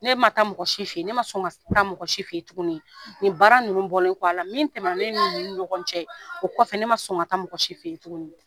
Ne ma taa mɔgɔ si fe yen. Ne ma sɔn ka taa mɔgɔ si fe yen tuguni. Nin baara nunnu bɔlen kɔ a la, min tɛmɛna ne ni nunnu ni ɲɔgɔn cɛ ,o kɔfɛ ne ma sɔn ka taa mɔgɔ si fe yen tuguni .